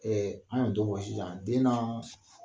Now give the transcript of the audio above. an kana dɔ bugo sisan den naaa